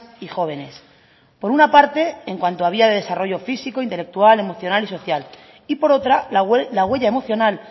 y jóvenes por una parte en cuanto a vía de desarrollo físico intelectual emocional y social y por otra la huella emocional